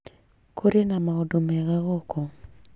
Kũrĩna maũndũ mega gũkũ